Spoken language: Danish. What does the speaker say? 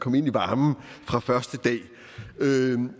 komme ind i varmen fra første dag